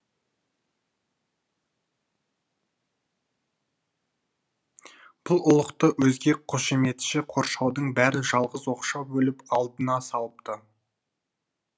бұл ұлықты өзге қошеметші қоршаудың бәрі жалғыз оқшау бөліп алдына салыпты